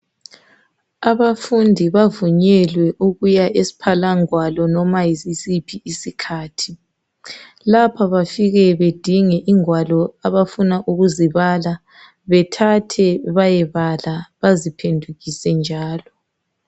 Abafundi bavunywelwe ukuya esiphalagwalo noma yisiphi iskhathi. Lapho bafike bedinge izigwalo abafuna ukuzibala, bethathe bayebala baziphendukise njalo.